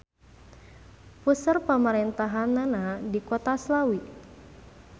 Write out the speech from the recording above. Puseur pamarentahannana di Kota Slawi.